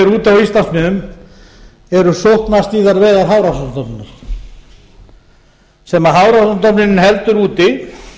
úti á íslandsmiðum eru er um sóknarstýrðar veiðar hafrannsóknastofnunar sem hafrannsóknastofnun heldur úti